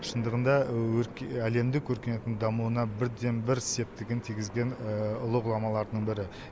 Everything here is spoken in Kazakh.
шындығында әлемдік өркениеттің дамуына бірден бір септігін тигізген ұлы ғұламалардың бірі